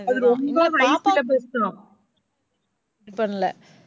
அது ரொம்ப பேசணும்.